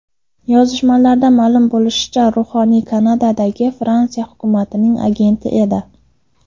Yozishmalardan ma’lum bo‘lishicha, ruhoniy Kanadadagi Fransiya hukumatining agenti edi.